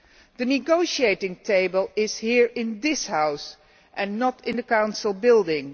The negotiating table is here in this House not in the Council building.